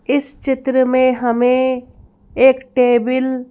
इस चित्र में हमें एक टेबिल --